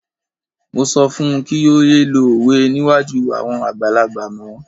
Mo sọ fún un kí ó yé lo òwe níwájú àwọn àgbàlagbà mọ́.